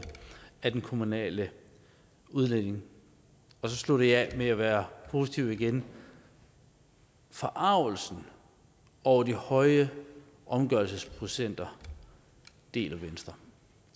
af den kommunale udligning så slutter jeg af med at være positiv igen forargelsen over de høje omgørelsesprocenter deler venstre